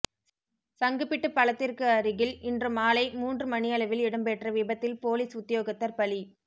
சங்குபிட்டி பலத்திற்கு அருகில் இன்று மாலை மூன்று மணியளவில் இடம்பெற்ற விபத்தில் பொலிஸ் உத்தியோகத்தர் பலி